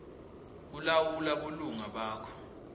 kulawula bulunga bakho